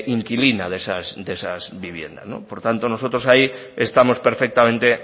inquilina de esa vivienda por tanto nosotros ahí estamos perfectamente